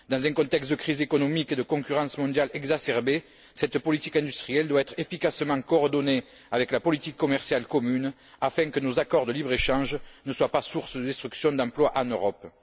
Dans un contexte de crise économique et de concurrence mondiale exacerbée, cette politique industrielle doit être efficacement coordonnée avec la politique commerciale commune afin que nos accords de libre échange ne soient pas source de destruction d'emplois en Europe.